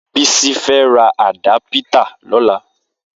Bisi fẹ̀ rà àdàpìtà lọ̀lá